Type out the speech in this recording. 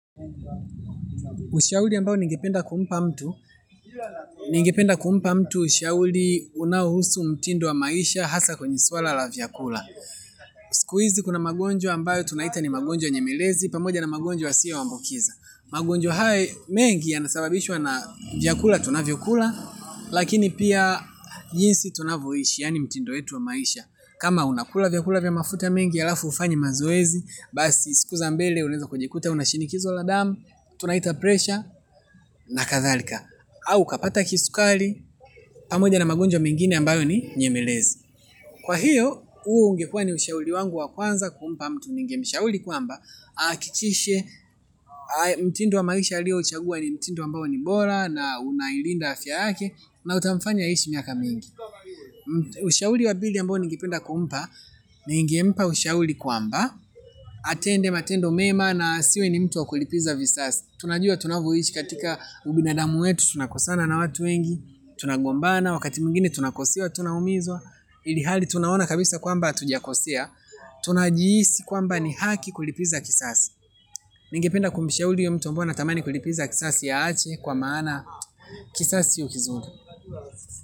Ushauri ambayo ningependa kumpa mtu ningependa kumpa mtu ushauri unaohusu mtindo wa maisha hasa kwenye swala la vyakula. Siku hizi kuna magonjwa ambayo tunaita ni magonjwa nyemelezi pamoja na magonjwa yasiyoambukiza. Magonjwa hayo mengi yanasababishwa na vyakula tunavyokula. Lakini pia jinsi tunavyoishi yani mtindo wetu wa maisha kama unakula vyakula vya mafuta mengi ya alafu hufanyi mazoezi basi siku za mbele unawezakujikuta una shinikizo la damu tunaita presha na kadhalika au ukapata kisukari pamoja na magonjwa mengine ambayo ninyemelezi. Kwa hiyo huu ungekuwa ni ushauri wangu wa kwanza kumpa mtu ningemshauri kwamba ahakikishe mtindo wa maisha aliouchagua ni mtindo ambao ni bora na unailinda afya yake na utamfanya aishi miaka mingi ushauri wa pili ambayo ningependa kumpa ningempa ushauri kwamba atende matendo mema na asiwe ni mtu wa kulipiza visasi. Tunajua tunavyoishi katika ubinadamu wetu. Tunakosana na watu wengi. Tunagombana wakati mwingine tunakosewa. Tunaumizwa ilihali tunaona kabisa kwamba hatukosea tunajihisi kwamba ni haki kulipiza kisasi. Ningependa kumshauri huyo mtu ambae anatamani kulipiza kisasi aache. Kwa maana kisasi sio kizuri.